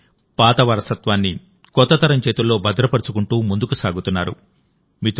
అంటే పాత వారసత్వాన్ని కొత్త తరం చేతుల్లో భద్రపరుచుకుంటూ ముందుకు సాగుతున్నారు